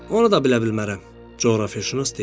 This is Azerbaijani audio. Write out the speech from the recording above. "Onu da bilə bilmərəm," coğrafiyaşünas dedi.